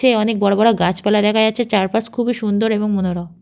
অনেক বড় বড় গাছপালা দেখা যাচ্ছে চারপাশ খুবই সুন্দর এবং মনোরম।